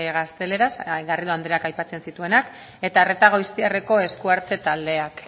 gazteleraz garrido andreak aipatzen zituenak eta arreta goiztiarreko esku hartze taldeak